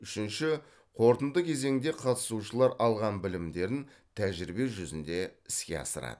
үшінші қорытынды кезеңде қатысушылар алған білімдерін тәжірибе жүзінде іске асырады